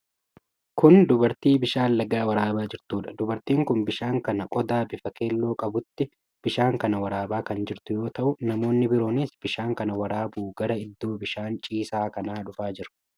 Kun dubartii bishaan lagaa waraabaa jirtuudha. Dubartiin kun bishaan kana qodaa bifa keelloo qabuutti bishaan kana waraabaa kan jirtu yoo ta'u, namoonni biroonis bishaan kana waraabuu gara iddoo bishaan ciisaa kanaa dhufaa jiru.